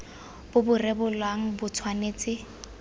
bo bo rebolang bo tshwanetse